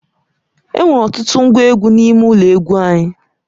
Enwere ọtụtụ ngwa egwu n'ime ụlọ egwu anyị.